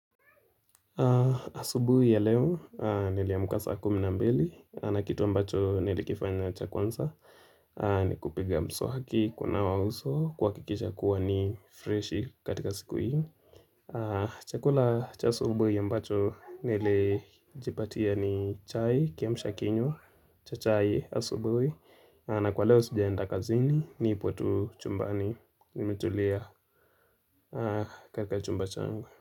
Asubuhi ya leo nili amka saa kumi na mbili na kitu ambacho nili kifanya cha kwanza ni kupiga mswaki kuna wa uso kwa kikisha kuwa ni fresh katika siku hii Chakula cha asubuhi ya mbacho nilijipatia ni chai kiamsha kinywa cha chai asubuhi na kwa leo sijaenda kazini nipo tu chumbani nimetulia katika chumba chango.